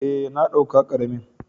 Eh, na dauka karamin.